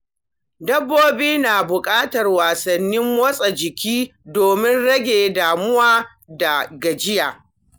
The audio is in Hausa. Dabbobi na buƙatar wasanni masu motsa jiki domin rage damuwa da gajiya.